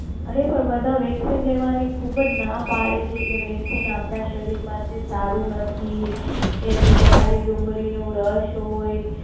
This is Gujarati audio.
અરે પણ બધા Vaccine લેવાની ખુબજ ના પડે છે કે વેકસીન આપણા શરીર માટે સારું નથી કે એતો ખાલી ડુંગળી નો રસ હોઈ.